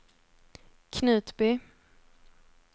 Knutby